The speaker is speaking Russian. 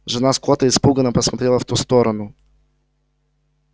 жена скотта испуганно посмотрела в ту сторону